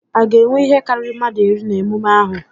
A ga-enwe ihe karịrị mmadụ iri na emume ahụ?